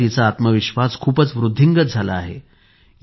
आता तिचा आत्मविश्वास खूपच वृद्धिंगत झाला आहे